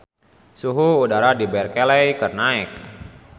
Suhu udara di Berkeley keur naek